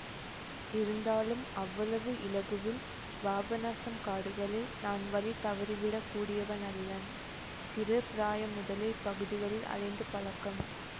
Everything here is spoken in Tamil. இருந்தாலும் அவ்வளவு இலகுவில் பாபநாசம் காடுகளில் நான் வழி தவறிவிடக் கூடியவனல்லன் சிறு பிராயம் முதலே இப்பகுதிகளில் அலைந்து பழக்கம்